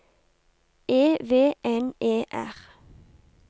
E V N E R